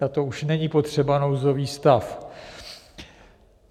Na to už není potřeba nouzový stav.